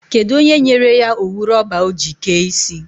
Kedụ onye nyere ya owu rọba ọ ji kee isi?